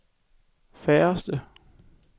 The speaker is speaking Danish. færreste